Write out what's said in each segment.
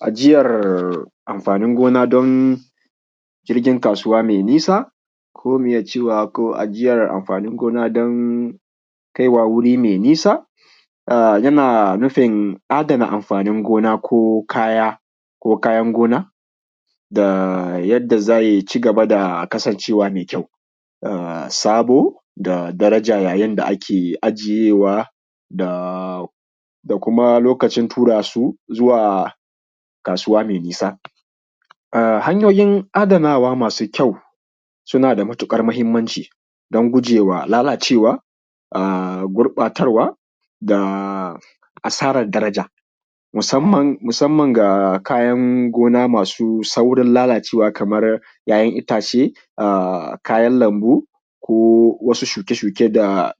Ajiyar amfanin gona dan jirgin kasuwa mai nisa ko mu iya cewa ajiyar amfanin gona dan kai wa wuri mai nisa. Yana nufin adana amfanin gona ko kaya ko kayan gona da yadda zai cigaba da kasancewa mai kyau sabo da darajar yanda ake ajiyewa da kuma lokacin tura su zuwa kasuwa mai nisa hanyoyin adanawa masu kyau suna da matukar mahimmanci dan gujewa lalacewa gurɓatarwa da asarar daraja musamman ga kayan gona masu sauran lalacewa kamar ‘ya’yan itace, a kayan lambu ko wasu shuke-shuke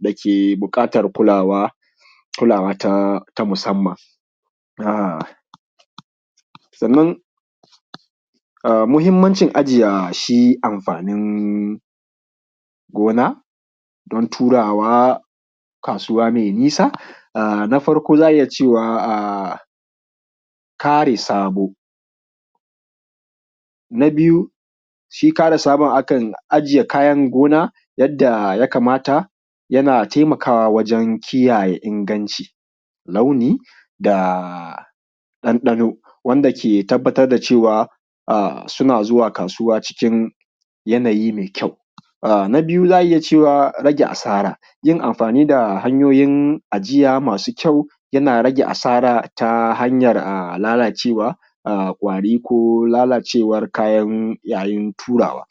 dake buƙatar kulawa ta musamman. Sannan muhimmancin ajiye shi amfanin gona dan turawa kasuwa mai nisa a na farko za a iya cewa kare sabo, na biyu shi kare sabon akan ajiye kayan gona yanda ya kamata, yana taimakawa wajan kiyaye iskanci, launi da ɗanɗano wanda ke tabbatar da cewa suna zuwa kasuwa cikin yanayi mai kyau. Na biyu za a iya cewa rage asara, yin amfani da hanyoyin ijiya masu kyau yana rage asara ta hanyar lalacewa, kwari ko lalacewar kaya yayin turawa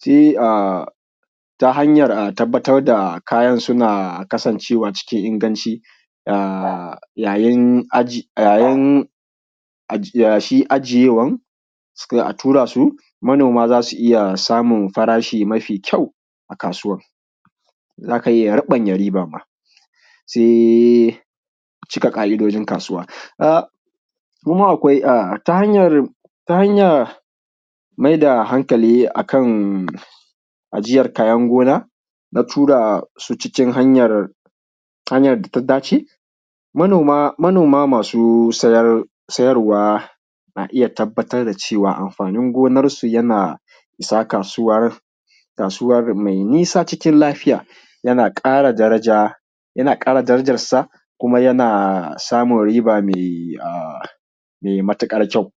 sai a ta hanyar tabbatar da kayan suna kasancewa cikin inganci yayin shi ajiyewan kan a tura su manoma za su iya samun farashi mai kyau a kasuwan, za ka iya raɓanya riba ma sai cika ƙa’idojin kasuwa kuma akwai ta hanyar maida hankali a kan ajiyar kayan gona na tura su cikin hanyan da ya dace. Manoma masu sayarwa na iya tabbatar da cewa amfanin gonansu yana isa kasuwar mai nisa cikin lafiya, yana ƙara daraja, yana ƙara darajarsa kuma yana samun riba mai matukar kyau.